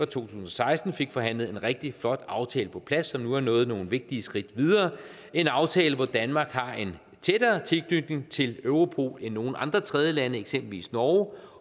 tusind og seksten fik forhandlet en rigtig flot aftale på plads så vi nu er nået nogle vigtige skridt videre en aftale hvor danmark har en tættere tilknytning til europol end nogle andre tredjelande eksempelvis norge